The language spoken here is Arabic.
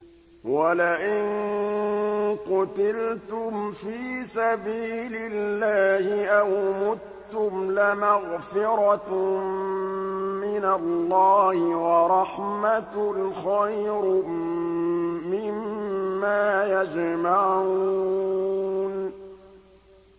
وَلَئِن قُتِلْتُمْ فِي سَبِيلِ اللَّهِ أَوْ مُتُّمْ لَمَغْفِرَةٌ مِّنَ اللَّهِ وَرَحْمَةٌ خَيْرٌ مِّمَّا يَجْمَعُونَ